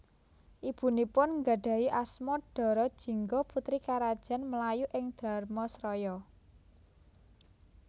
Ibunipun nggadhahi asma Dara Jingga putri Karajan Melayu ing Dharmasraya